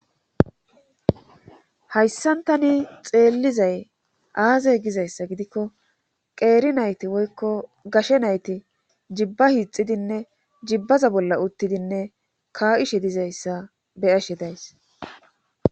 Hayssantani xeellizay aaze gizayssa gidikko qeeri nayti woykko gashe nayti jibba hiixidinne jibbaza bolla uttidinne ka7ishe dizayssa beyashe days